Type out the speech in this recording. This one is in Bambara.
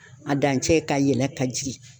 A dancɛ ka yɛlɛ ka jigin.